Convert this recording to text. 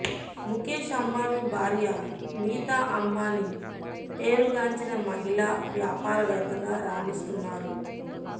ముఖేష్ అంబానీ భార్య నీతా అంబానీ పేరుగాంచిన మహిళా వ్యాపారవేత్తగా రాణిస్తున్నారు